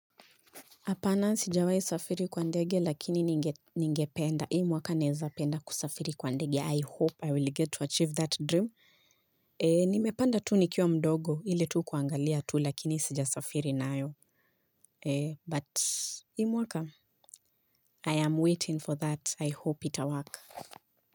Apana sijawai safiri kwa ndege lakini ningependa. Hii mwaka naweza penda kusafiri kwa ndege. I hope I will get to achieve that dream. Nimepanda tu nikiwa mdogo ile tu kuangalia tu lakini sijasafiri nayo. But hii mwaka I am waiting for that. I hope ita work.